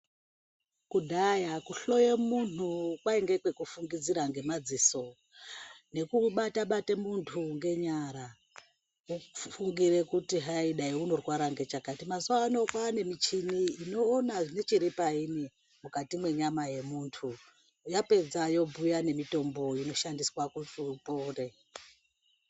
Kudhaya kuhloya muntu kwainge kwekufungidzira ngemadziso ngekumubata bata muntu ngenyara uchifungire kuti hai dai unorwara nechakati. Mazuwano kwane michini inoona nechiri paini mukati mwenyama yemuntu yapedza yobhuya nemutombo yekushandiswa kuti upore.